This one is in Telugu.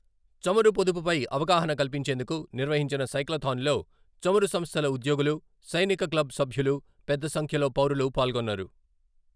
చమురు పొదుపుపై అవగాహన కల్పించేందుకు నిర్వహించిన సైక్లాథాన్లో చమురు సంస్థల ఉద్యోగులు, సైనిక క్లబ్ సభ్యులు పెద్ద సంఖ్యలో పౌరులు పాల్గొన్నారు.